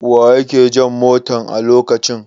Wa ke jan motan a lokacin?